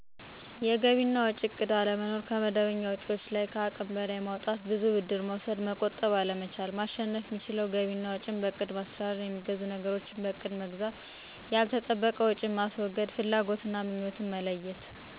የገቢ እና ወጭ እቅድ አለመኖር፣ ከመደበኛ ወጭዎች ለይ ከሃቅም በለይ ማውጣት፣ ብዙ ብድር መውሰድ፣ መቆጠብ አለመቻል። ማሸነፍ የሚችለው ገቢ እና ወጭ በእቅድ ማስተዳደር፣ የሚገዙ ነገሮችን በእቅድ መግዛት፣ ዋጋዎችን ማነፃፀር፣ ያልተጠበቀ ወጭ ማስወገድ፣ ቀጠባ መጀመር፣ ወጭዎችን መከታተል፣ ፍላጎትና ምኞትን መለየት